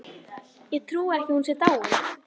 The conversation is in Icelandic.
Ég trúi ekki að hún sé dáin.